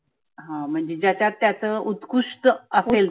हं म्हणजे ज्याच्यात त्याच उत्कृष्ट असेल.